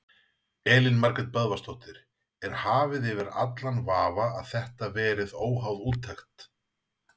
Elín Margrét Böðvarsdóttir: Er hafið yfir allan vafa að þetta verið óháð úttekt?